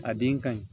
A den ka ɲi